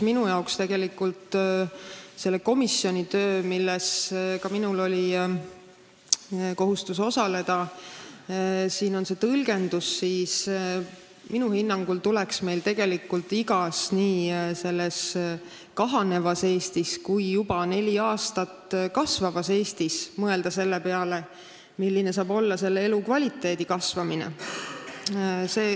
Minul on ka kohustus selle probleemkomisjoni töös osaleda ja minu hinnangul tuleks meil siin Eestis, kus rahvaarv senise kahanemise asemel juba neli aastat kasvanud on, mõelda selle peale, mida teha, et elukvaliteet paraneks.